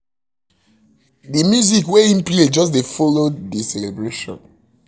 the music wey e play just follow the celebration